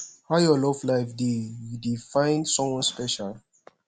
how your love life dey you dey find someone special